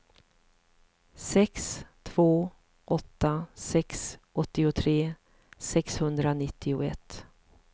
sex två åtta sex åttiotre sexhundranittioett